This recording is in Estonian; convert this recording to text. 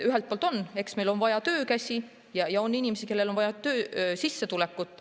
Ühelt poolt, eks, on meil vaja töökäsi, ja inimestel on vaja sissetulekut.